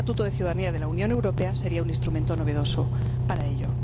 Un estatuto de ciudadanía de la Unión Europea sería un instrumento novedoso para ello.